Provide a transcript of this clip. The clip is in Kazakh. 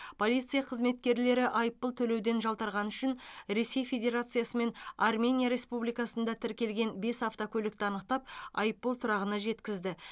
полиция қызметкерлері айыппұл төлеуден жалтарғаны үшін ресей федерациясы мен армения республикасында тіркелген бес автокөлікті анықтап айыппұл тұрағына жеткізді